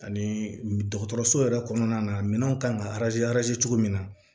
Ani dɔgɔtɔrɔso yɛrɛ kɔnɔna minɛnw kan ka cogo min na